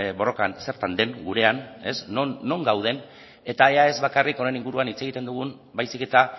borrokan zertan den gurean non gauden eta ea ez bakarrik honen inguruan hitz egiten dugun baizik eta